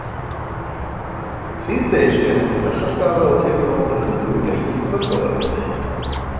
Síðdegis fer hún til Bessastaða og tekur á móti tuttugu gestum í kvöldverðarboði.